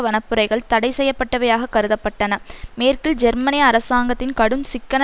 வனப்புரைகள் தடை செய்யப்பட்டவையாக கருத பட்டன மேற்கில் ஜெர்மனிய அரசாங்கத்தின் கடும் சிக்கன